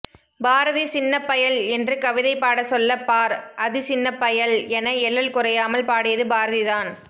பாரதி சின்னப்பயல் என்று கவிதை பாட சொல்ல பார் அதி சின்னப்பயல் என எள்ளல் குறையாமல் பாடியது பாரதி தான்